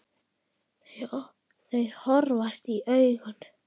Þau horfast í augu.